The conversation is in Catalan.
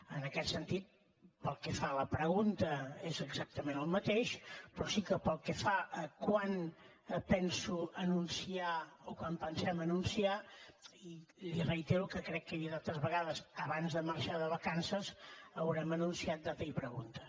en aquest sentit pel que fa a la pregunta és exactament el mateix però sí que pel que fa a quan penso anunciar o quan pensem anunciar l’hi reitero que crec que ho he dit altres vegades abans de marxar de vacances haurem anunciat data i pregunta